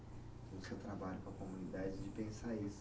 No seu trabalho com a comunidade, de pensar isso.